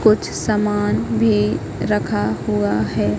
कुछ समान भी रखा हुआ है।